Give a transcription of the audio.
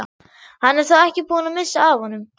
Hann er þó ekki búinn að missa af honum!